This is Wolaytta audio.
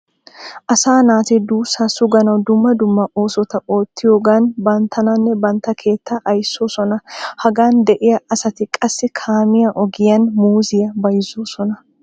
Asaa naati duussaa suganawu dumma dumma oosota oottiyoogan banttananne bantta keettaa ayissosona. Hagan diya asati qassi kaamiya ogiyan muuziya bayizzoosona.